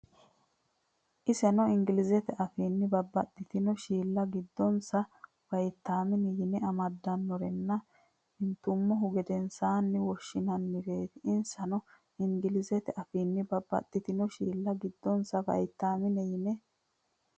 Insano Ingilizete afiinni Babbaxxitino shiilla giddonsa Vaytaamine yine amaddinorenna intummohu gedensaanni woshshinannireeti Insano Ingilizete afiinni Babbaxxitino shiilla giddonsa Vaytaamine yine.